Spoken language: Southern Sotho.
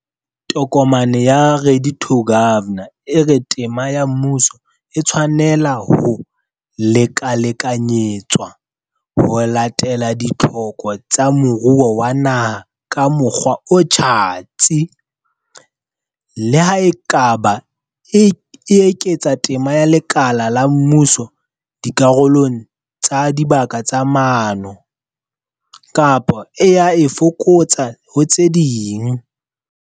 Tokomane ya, Ready to Govern, e re tema ya mmuso, e tshwanela ho lekalekanyetswa ho latela ditlhoko tsa moruo wa naha ka mokgwa o tjhatsi, le ha e ka ba e eketsa tema ya lekala la mmuso dikarolong tsa dibaka tsa maano, kapa e a e fokotsa ho tse ding.